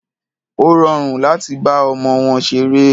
Ó rọrùn láti bá ọmọ wọn ṣeré.